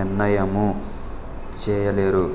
నిర్నయము చెయ లేరు